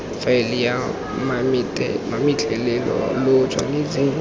faeleng ya mametlelelo lo tshwanetse